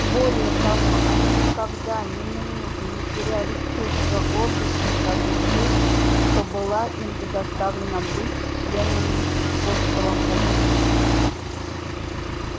более того они никогда ни минуту не теряли чувства гордости за ту честь что была им предоставлена быть членами скотского хутора